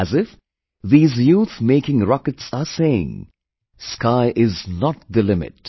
As if these youth making rockets are saying, Sky is not the limit